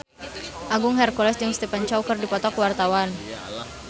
Agung Hercules jeung Stephen Chow keur dipoto ku wartawan